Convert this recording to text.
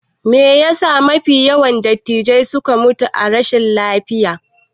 Meyasa mafi yawan dattijai suke mutuwa ta rashi lafiya?